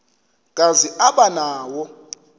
kazi aba nawo